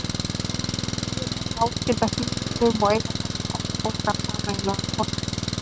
vorflugur eru náskyldar fiðrildum og eiga þessir ættbálkar sameiginlegan forföður